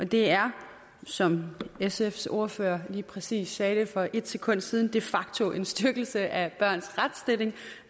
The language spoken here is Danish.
det er som sfs ordfører lige præcis sagde det for et sekund siden de facto en styrkelse af børns retsstilling